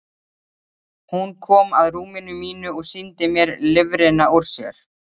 Hún kom að rúminu mínu og sýndi mér lifrina úr sér.